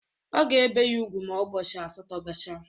A ga-ebe ya ugwu ma ụbọchị asatọ gachaa